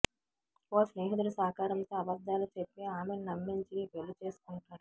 ఓ స్నేహితుడి సహకారంతో అబద్ధాలు చెప్పి ఆమెని నమ్మించి పెళ్ళి చేసుకుంటాడు